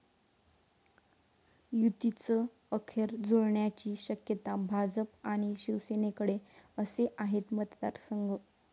युतीचं अखेर जुळण्याची शक्यता, भाजप आणि शिवसेनेकडे असे आहेत मतदारसंघ!